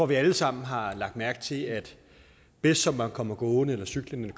vi alle sammen har lagt mærke til at bedst som man kommer gående cyklende